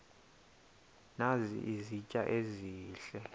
nazi izitya ezihle